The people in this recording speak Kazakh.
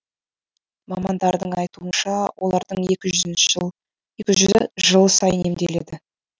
мамандардың айтуынша олардың екі жүзі жыл сайын емделеді